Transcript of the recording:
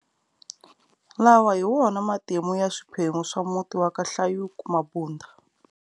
Lawa hi wona matimu ya swiphemu swa muti wa ka hlayuku-Mabunda.